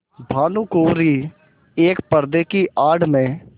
भानुकुँवरि एक पर्दे की आड़ में